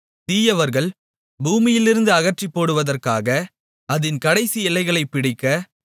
தீயவர்கள் பூமியிலிருந்து அகற்றிப்போடுவதற்காக அதின் கடைசி எல்லைகளைப் பிடிக்க